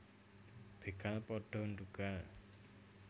Begal pada ndhugal